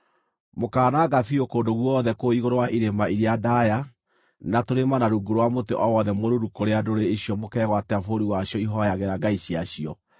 Mũkaananga biũ kũndũ guothe kũu igũrũ wa irĩma iria ndaaya na tũrĩma na rungu rwa mũtĩ o wothe mũruru kũrĩa ndũrĩrĩ icio mũkegwatĩra bũrũri wacio ihooyagĩra ngai ciacio.